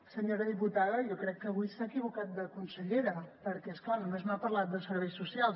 senyora diputada jo crec que avui s’ha equivocat de consellera perquè és clar només m’ha parlat de serveis socials